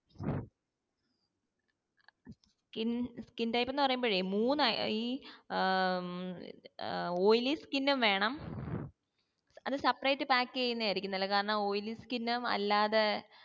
skin skin type എന്ന് പറയുമ്പോഴേ മൂന്ന് ഈ ഏർ ഏർ oily skin ഉം വേണം അത് separate pack യ്യുന്നായിരിക്കും നല്ലെ കാരണം oily skin ഉം അല്ലാതെ